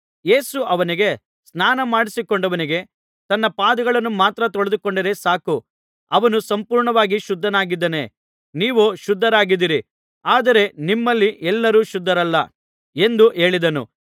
ಯೇಸು ಅವನಿಗೆ ಸ್ನಾನಮಾಡಿಕೊಂಡವನಿಗೆ ತನ್ನ ಪಾದಗಳನ್ನು ಮಾತ್ರ ತೊಳೆದುಕೊಂಡರೆ ಸಾಕು ಅವನು ಸಂಪೂರ್ಣವಾಗಿ ಶುದ್ಧನಾಗಿದ್ದಾನೆ ನೀವೂ ಶುದ್ಧರಾಗಿದ್ದೀರಿ ಆದರೆ ನಿಮ್ಮಲ್ಲಿ ಎಲ್ಲರೂ ಶುದ್ಧರಲ್ಲ ಎಂದು ಹೇಳಿದನು